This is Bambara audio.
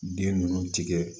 Bin ninnu tigɛ